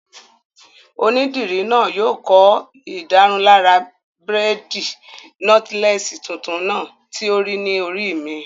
Onídìrí náà yóò kọ́ ìdárunlárà bírèèdì nọ́tílẹ́ẹ̀sì tuntun náà tí ó rí ní orí mi